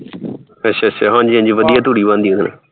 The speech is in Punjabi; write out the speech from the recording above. ਅੱਛਾ ਅੱਛਾ ਹਾਂਜੀ ਹਾਂਜੀ ਵਧੀਆ ਤੂੜੀ ਬਣਦੀ ਏ ਉਹਦੇ ਨਾਲ